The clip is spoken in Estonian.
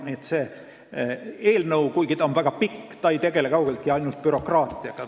Nii et see eelnõu, kuigi ta on väga pikk, ei tegele kaugeltki mitte ainult bürokraatiaga.